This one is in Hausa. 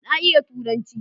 Na iya Turanci.